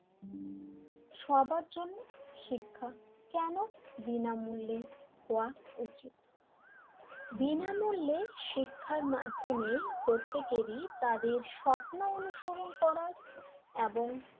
সবার জন্য শিক্ষা কেন বিনামূল্যে হওয়া উচিত বিনামূল্য শিক্ষা মাধ্যমে প্রত্যেকেরই তাদের স্বপ্ন অনুসরণ করা এবং,